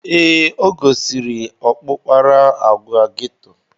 Ee, o gosiri ọkpụkpara agwa geto.